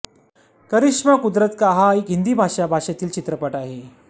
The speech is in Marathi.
करिश्मा कुदरत का हा एक हिंदी भाषा भाषेतील चित्रपट आहे